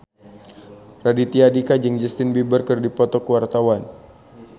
Raditya Dika jeung Justin Beiber keur dipoto ku wartawan